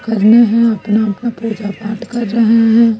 करना है अपना अपना पूजा पाठ कर रहे हैं।